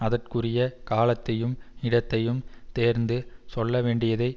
அதற்குரிய காலத்தையும் இடத்தையும் தேர்ந்து சொல்ல வேண்டியதை